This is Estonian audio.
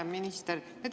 Hea minister!